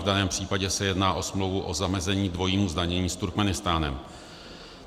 V daném případě se jedná o smlouvu o zamezení dvojímu zdanění s Turkmenistánem.